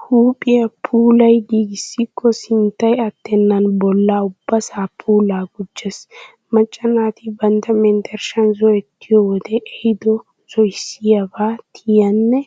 Huuphiya puulayi giigissikko sinttay attennan bolla ubbasaa puulaa gujjes. Macca naati bantta menttershshan zo'ettiyoyi wode ehido zo'issiyaabaa tiynanne